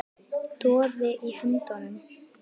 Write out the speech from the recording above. Doði í höndum